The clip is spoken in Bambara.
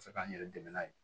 Se k'an yɛrɛ dɛmɛ n'a ye